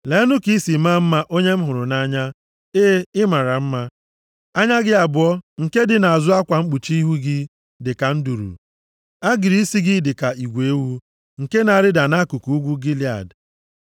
Leenụ ka i si maa mma, onye m hụrụ nʼanya, e, ị mara mma! + 4:1 \+xt Abk 1:15; 5:12\+xt* Anya gị abụọ nke dị nʼazụ akwa mkpuchi ihu gị dị ka nduru. Agịrị isi gị dị ka igwe ewu + 4:1 Igwe ewu ndị a dị ojii. nke na-arịda nʼakụkụ ugwu Gilead.